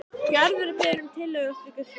Gerður er beðin um tillögur að slíkri skreytingu.